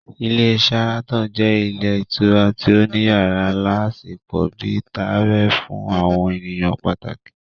Ilé Sharaton jẹ́ ilé ìtura tí ó ní yàrá aláṣepọ̀ bíi tààrẹ fún àwọn ènìyàn pàtàkì